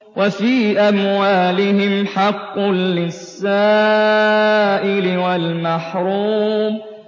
وَفِي أَمْوَالِهِمْ حَقٌّ لِّلسَّائِلِ وَالْمَحْرُومِ